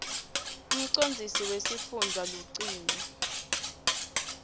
umcondzisi wesifundza lucingo